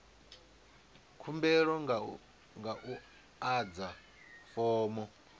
khumbelo nga u adza fomo